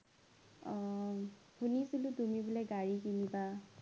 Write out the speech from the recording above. অ শুনিছিলো তুমি বোলে গাড়ী কিনিবা